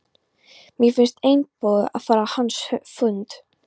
Mér fannst einboðið að fara á hans fund.